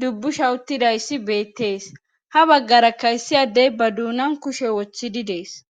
dubbusha uttidayssi beettees ha baggara kayssiyadey ba duunan kushe woththidi dees.